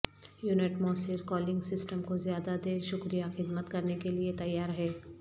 unit موثر cooling system کو زیادہ دیر شکریہ خدمت کرنے کے لئے تیار ہے